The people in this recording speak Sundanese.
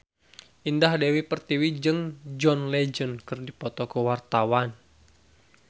Indah Dewi Pertiwi jeung John Legend keur dipoto ku wartawan